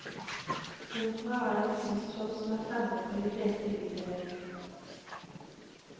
Opera er en kunstform som er fremmed for de fleste i bydelen.